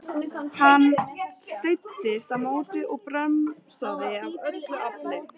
Hann streittist á móti og bremsaði af öllu afli.